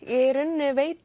í rauninni veit